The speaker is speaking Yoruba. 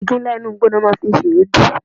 Igi ńlá inú igbó ni wọ́n máa ń fi ń ṣe èédú.